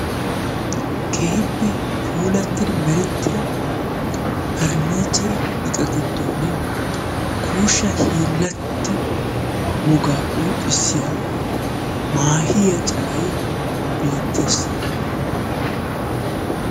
keehippe puulattida meretida purniichire iqaa gidooni kuushsha hiilatto wogaa qonccissiya maahiyaa calay beetees.